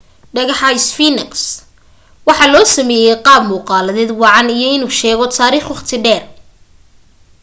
dhagaxa sphinx waxaa loo sameeyay qaab muuqaaleed wacan iyo inuu sheego taariikh wakhti dheer